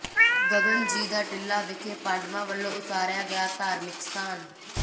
ਗਗਨ ਜੀ ਦਾ ਟਿੱਲਾ ਵਿਖੇ ਪਾਂਡਵਾਂ ਵੱਲੋਂ ਉਸਾਰਿਆ ਗਿਆ ਧਾਰਮਿਕ ਸਥਾਨ